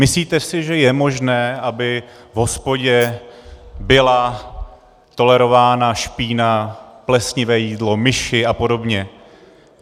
Myslíte si, že je možné, aby v hospodě byla tolerována špína, plesnivé jídlo, myši a podobně?